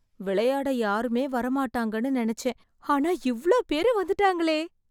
விளையாட யாருமே வர மாட்டாங்கன்னு நினைச்சேன், ஆனா இவ்ளோ பேரு வந்துட்டாங்களே.